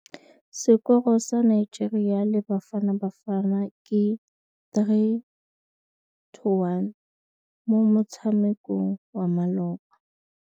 Sekôrô sa Nigeria le Bafanabafana ke 3-1 mo motshamekong wa malôba.